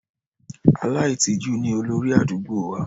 Aláìtìjú ni olórí àdúgbò wa.